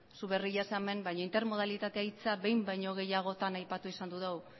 zu berria zara hemen baina intermodalitatea hitza behin baino gehiagotan aipatu izan dugu